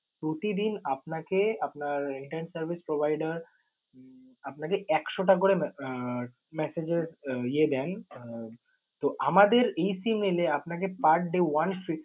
প্রতিদিন আপনাকে আপনার internet service provider উম আপনাকে একশো টা করে messa~ message এর ইয়ে দেয়, আহ তো আমাদের এই SIM নিলে আপনাকে per day one fif~